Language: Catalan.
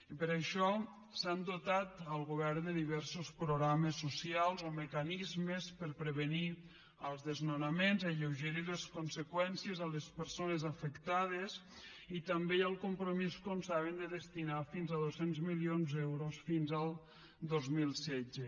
i per això s’ha dotat el govern de diversos programes socials o mecanismes per prevenir els desnonaments alleugerir les conseqüències a les persones afectades i també hi ha el compromís com saben de destinar fins a dos cents milions d’euros fins al dos mil setze